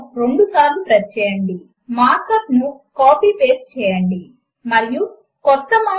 కనుక ఇక్కడ equal to character యొక్క కుడి మరియు ఎడమ వైపు భాగములను ఎలైన్ చేయడము కొరకు మనము ఎలైన్ r మరియు ఎలైన్ l లను వాడాము